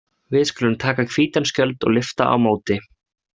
Við skulum taka hvítan skjöld og lyfta á móti.